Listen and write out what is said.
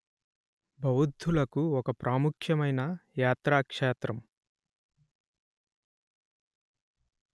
బౌద్ధులకు ఒక ప్రాముఖ్యమైన యాత్రాక్షేత్రం